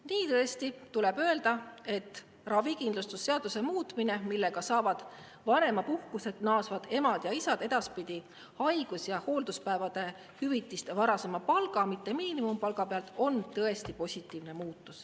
Nii tuleb öelda, et ravikindlustusseaduse muutmine, millega saavad vanemapuhkuselt naasvad emad ja isad edaspidi haigus- ja hoolduspäevade hüvitist varasema palga, mitte miinimumpalga pealt, on tõesti positiivne.